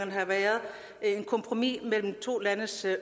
og et kompromis mellem to landes